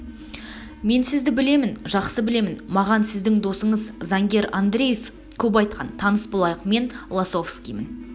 мен сізді білемін жақсы білемін маған сіздің досыңыз заңгер андреев көп айтқан таныс болайық мен лосовскиймн